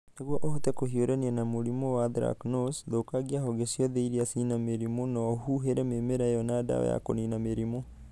Nĩguo ũhote kũhiũrania na mũrimũ wa Anthracnose, thũkangia honge ciothe iria cina merimũ na ũhuhere mĩmera ĩyo na ndawa ya kũniina mĩrimũ.